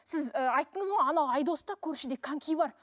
сіз ііі айттыңыз ғой анау айдоста көршіде конький бар